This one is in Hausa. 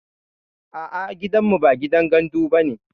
A'a gidanmu ba gidan gandu bane